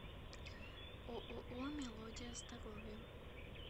ооо мелодия здоровья